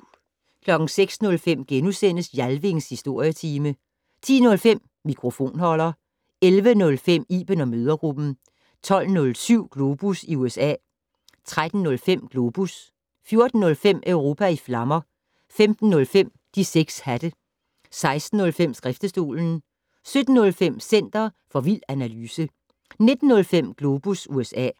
06:05: Jalvings Historietime * 10:05: Mikrofonholder 11:05: Iben & mødregruppen 12:07: Globus i USA 13:05: Globus 14:05: Europa i flammer 15:05: De 6 hatte 16:05: Skriftestolen 17:05: Center for vild analyse 19:05: Globus USA